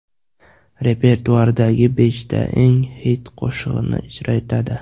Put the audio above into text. Repertuaridagi beshta eng xit qo‘shig‘ini ijro etadi.